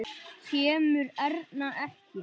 Kemur Erna ekki!